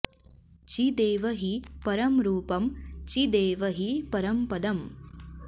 चिदेव हि परं रूपं चिदेव हि परं पदम्